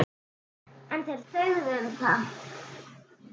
En þeir þögðu um það.